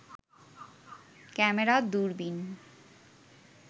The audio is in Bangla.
ক্যামেরা, দূরবিন